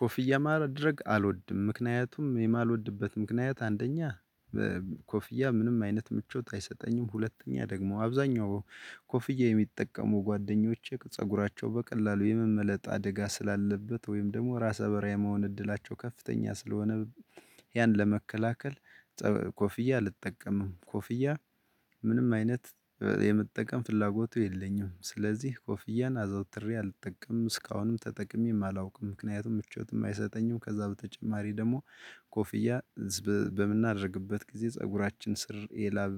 ኮፍያ ማድረግ አልወድም ምክንያቱም የማልወድበት ምክንያት አንደኛ ኮፍያ ምንም አይነት ምቾት አይሰጠኝም። ሁለተኛ ደግሞ አብዛኛው ኮፍያ የሚጠቀሙ ጓደኞቼ ፀጉራቸው በቀላሉ የመመለጥ አደጋ ስላለበት ወይም ደግሞ ራሰ በራ የመሆን እድላቸው ከፍተኛ ስለሆነ። ያን ለመከላከል ኮፍያ አልጠቀምም ኮፍያ ምንም አይነት የምጠቀም ፍላጎቱ የለኝም። ስለዚህ ኮፍያን አዘውትሬ አልጠቀምም እስካሁንም ተጠቅሜም አላውቅም። ምክንያቱም ምቾትም አይሰጠኝም ከዛ በተጨማሪ ደግሞ ኮፍያ በምናደርግበት ጊዜ ፀጉራችን ስር ይላል።